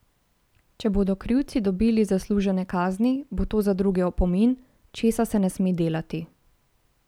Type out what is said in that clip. Če bodo krivci dobili zaslužene kazni, bo to tudi za druge opomin, česa se ne sme delati.